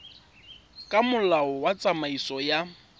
ka molao wa tsamaiso ya